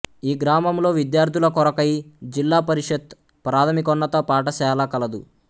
ఈ గ్రామములొ విద్యార్థుల కొరకై జిల్లా పరిషత్ ప్రాథమికొన్నత పాటశాళ కలదు